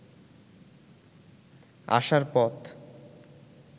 আসার পথ